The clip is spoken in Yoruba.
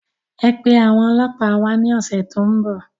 Ẹ pe àwọn ọlọpa wá ní ọ̀sẹ̀ tó ń bọ̀